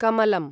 कमलम्